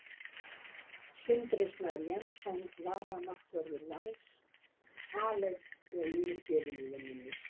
Sindri Snær Jensson varamarkvörður Vals: Aleinn og yfirgefinn í vinnunni.